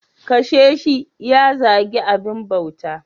Kashe shi ya zagi abin bauta.